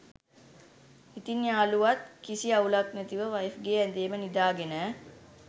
ඉතින් යාළුවත් කිසි අවුලක් නැතිව වයිෆ්ගෙ ඇදේම නිදා ගෙන.